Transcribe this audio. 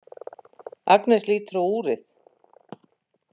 Agnes lítur á úrið.